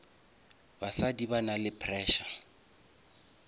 basadi ba nale pressure